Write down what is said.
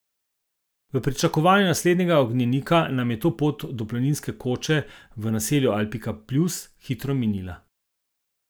V pričakovanju naslednjega ognjenika nam je pot do planinske koče v naselju Alpika pljus hitro minila.